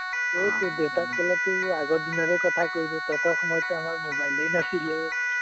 আমাৰ দেতাক কলেটো আগৰ দিনৰে কথা কৈ দিয়ে, তহঁতৰ সময়তটো আমাৰ mobile এ নাছিলে